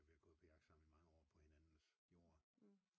Vi er gået på jagt sammen i mange år på hinandens jord